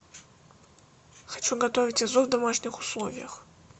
хочу готовить азу в домашних условиях